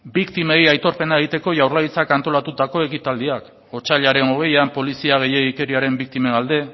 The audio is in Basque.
biktimei aitorpena egiteko jaurlaritzak antolatutako ekitaldia otsailaren hogeian polizia gehiegikeriaren biktimen alde